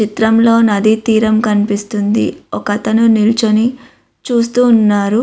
చిత్రంలో నది తీరం కనిపిస్తుంది. ఒకతను నిలుచొని చూస్తూ ఉన్నారు.